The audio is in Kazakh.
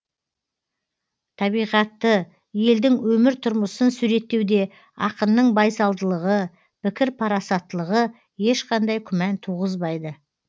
табиғатты елдің өмір тұрмысын суреттеуде ақынның байсалдылығы пікір парасаттылығы ешқандай күмән туғызбайды